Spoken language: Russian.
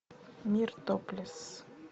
мир топлесс